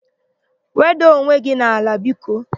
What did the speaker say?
Wedaa onwe gị n'ala biko!